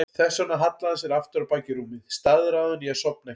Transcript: Þess vegna hallaði hann sér aftur á bak í rúmið, staðráðinn í að sofna ekki.